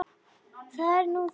Það er nú það.